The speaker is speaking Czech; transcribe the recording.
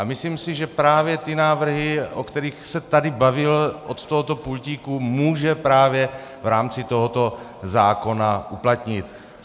A myslím si, že právě ty návrhy, o kterých se tady bavil od tohoto pultíku, může právě v rámci tohoto zákona uplatnit.